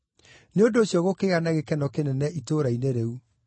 Nĩ ũndũ ũcio gũkĩgĩa na gĩkeno kĩnene itũũra-inĩ rĩu.